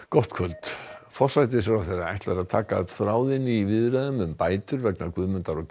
gott kvöld forsætisráðherra ætlar að taka upp þráðinn í viðræðum um bætur vegna Guðmundar og